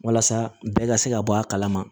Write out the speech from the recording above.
Walasa bɛɛ ka se ka bɔ a kala ma